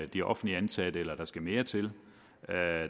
de offentligt ansatte eller om der skal mere til